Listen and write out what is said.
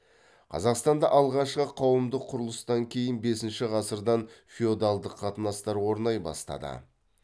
қазақстанда алғашқы қауымдық құрылыстан кейін бесінші ғасырдан феодалдық қатынастар орнай бастады